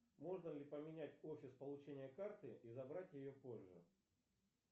можно ли поменять офис получения карты и забрать ее позже